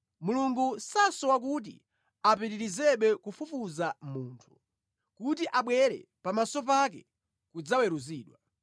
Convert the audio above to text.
Mulungu sasowa kuti apitirizebe kufufuza munthu, kuti abwere pamaso pake kudzaweruzidwa.